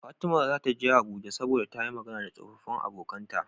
Fatima zata je abuja saboda tayi Magana da tsofafin abokAnan ta